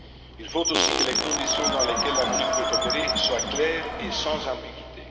Il faut aussi que les conditions dans lesquelles la MONUC peut opérer soient claires et sans ambiguïté.